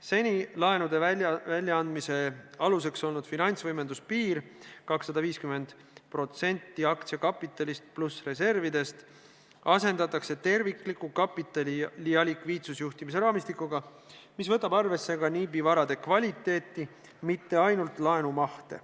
Seni laenude väljaandmise aluseks olnud finantsvõimenduse piir, 250% aktsiakapitalist pluss reservidest, asendatakse tervikliku kapitali- ja likviidsusjuhtimise raamistikuga, mis võtab arvesse ka NIB-i varade kvaliteeti, mitte ainult laenumahte.